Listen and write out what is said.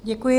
Děkuji.